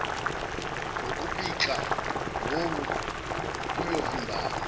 ngokupikla wowu kuyovimbani